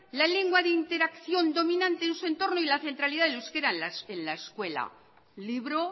la lengua de interacción dominante en su entorno y la centralidad del euskera en la escuela libro